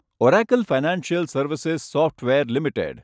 Oracle financial services software limited